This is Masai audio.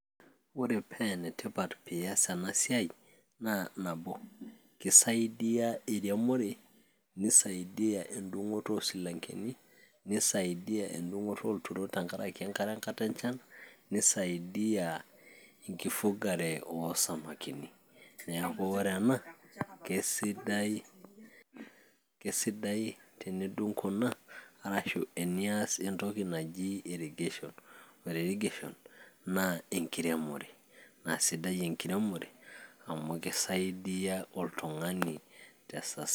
ore pee enetipat piiyas ena siai naa nabo kisaidiyia eremore nisaidiyia endung'oto oosilankeni, nisaidiyia endung'oto olturot tenkaraki enkare enkata enchan, nisaidiyia enkifugare oosamakini neeku ore ena kesidai tenidung kuna arashu tenias entoki naji irrigation ore rigeshon naa enkiremore naa sidai enkiremore amu kisaidiyia oltung'ani tesa.